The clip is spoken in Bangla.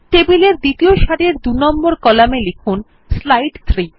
টেবিলের দ্বিতীয় সারির ২ নম্বর কলামে লিখুন স্লাইড 3